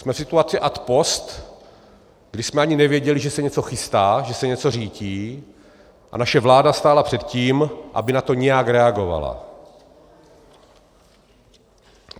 Jsme v situaci ad post, kdy jsme ani nevěděli, že se něco chystá, že se něco řítí, a naše vláda stála před tím, aby na to nějak reagovala.